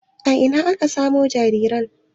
A ina aka samo jinjiran?